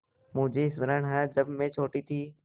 मुझे स्मरण है जब मैं छोटी थी